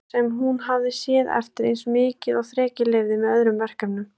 Sá sem hún hafði séð eftir eins mikið og þrekið leyfði, með öðrum verkefnum.